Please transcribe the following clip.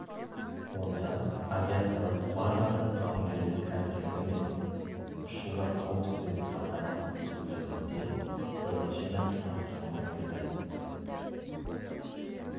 онда авиациялық базаның жауынгерлік әзірлігі мен ұшулар қауіпсіздігін қамтамасыз ету жөнінде бірнеше нақты тапсырмалар берді